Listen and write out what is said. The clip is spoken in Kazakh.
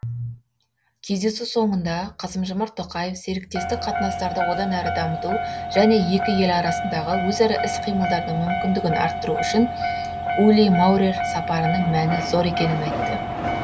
кездесу соңында қасым жомарт тоқаев серіктестік қатынастарды одан әрі дамыту және екі ел арасындағы өзара іс қимылдардың мүмкіндігін арттыру үшін ули маурер сапарының мәні зор екенін айтты